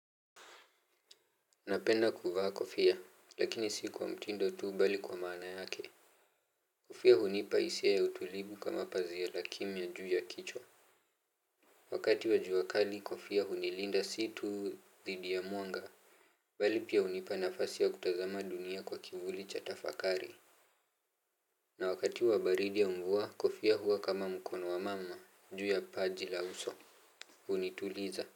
Napenda kuvaa kofia lakini si kwa mtindo tu bali kwa maana yake. Kofia hunipa hisia ya utulivu kama pazia la kimya juu ya kichwa. Wakati wa jua kali kofia hunilinda, si tu dhidi ya mwanga. Bali pia hunipa nafasi ya kutazama dunia kwa kivuli cha tafakari. Na wakati wa baridi ya mvua, kofia huwa kama mkono wa mama juu ya paji la uso. Hunituliza.